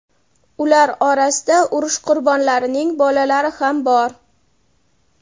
Ular orasida urush qurbonlarining bolalari ham bor.